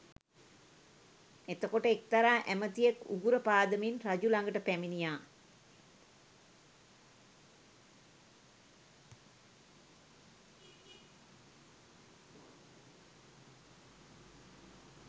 එතකොට එක්තරා ඇමතියෙක් උගුර පාදමින් රජු ළඟට පැමිණියා